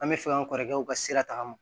An bɛ fɛ an kɔrɔkɛ u ka sira ta ma